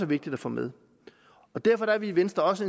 vigtigt at få med derfor er vi i venstre også